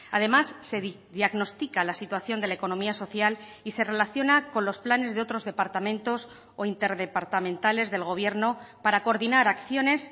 además se diagnostica la situación de la economía social y se relaciona con los planes de otros departamentos o interdepartamentales del gobierno para coordinar acciones